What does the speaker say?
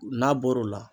N'a bɔr'o la